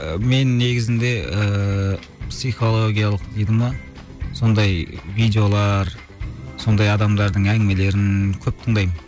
мен негізінде ыыы психологиялық дейді ме сондай видеолар сондай адамдардың әңгімелерін көп тыңдаймын